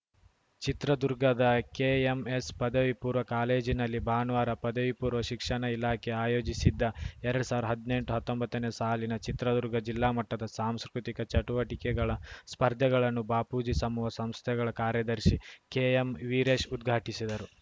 ಚಿತ್ರದುರ್ಗದ ಕೆಎಂಎಸ್‌ ಪದವಿ ಪೂರ್ವ ಕಾಲೇಜಿನಲ್ಲಿ ಭಾನುವಾರ ಪದವಿಪೂರ್ವ ಶಿಕ್ಷಣ ಇಲಾಖೆ ಆಯೋಜಿಸಿದ್ದ ಎರಡ್ ಸಾವಿರದ ಹದ್ನೆಂಟು ಹತ್ತೊಂಬತ್ತನೇ ಸಾಲಿನ ಚಿತ್ರದುರ್ಗ ಜಿಲ್ಲಾ ಮಟ್ಟದ ಸಾಂಸ್ಕೃತಿಕ ಚಟುವಟಿಕೆಗಳ ಸ್ಪರ್ಧೆಗಳನ್ನು ಬಾಪೂಜಿ ಸಮೂಹ ಸಂಸ್ಥೆಗಳ ಕಾರ್ಯದರ್ಶಿ ಕೆಎಂವೀರೇಶ್‌ ಉದ್ಘಾಟಿಸಿದರು